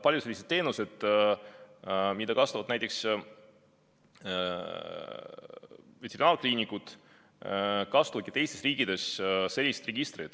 Paljud sellised teenused, mida kasutavad näiteks veterinaarkliinikud, kasutavadki teistes riikides sellist registrit.